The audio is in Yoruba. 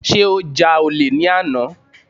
Sé ó ja olè ní àná.